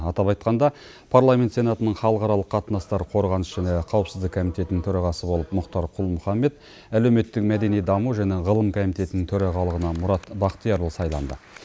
атап айтқанда парламент сенатының халықаралық қатынастар қорғаныс және қауіпсіздік комитетінің төрағасы болып мұхтар құл мұхаммед әлеуметтік мәдени даму және ғылым комитетінің төрағалығына мұрат бахтиярұлы сайланды